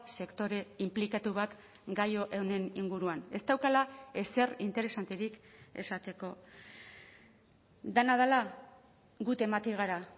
sektore inplikatu bat gai honen inguruan ez daukala ezer interesanterik esateko dena dela gu temati gara